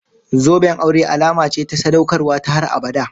Zoben aure alama ce ta sadaukarwa ta har abada.